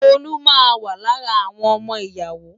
Tolú máa wà lára àwọn ọmọ ìyàwó.